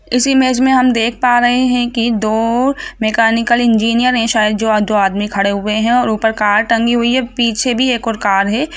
इस इमेज हम देख पा रहे हे की दो मैकेनिकल इंजीनियर हे शायद जो दो आदमी खड़े हुवे हे और ऊपर कार टंगी हुवी हे पीछे भी एक और कार हे।